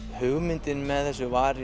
hugmyndin með þessu var